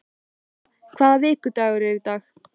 Sera, hvaða vikudagur er í dag?